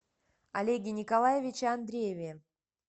олеге николаевиче андрееве